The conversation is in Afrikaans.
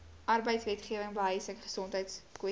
arbeidswetgewing behuising gesondheidskwessies